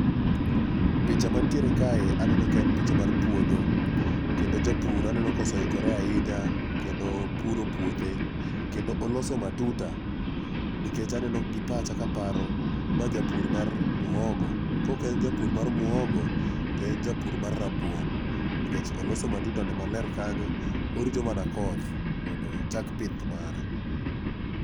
Picha mantiere kae aneno ka en picha mar puodho kendo japur aneno koseikore ahinya kendo opuro puothe kendo oloso matuta nikech aneno gi pacha kaparo ma japur mar muhogo koken japur mar muhogo to en japur mar rabuon nikech oloso matutane maler kanyo orito mana koth mondo ochak pith mare.